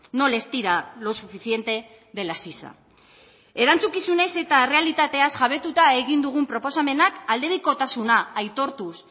no les tira lo suficiente de la sisa erantzukizunez eta errealitateaz jabetuta egin dugun proposamenak aldebikotasuna aitortuz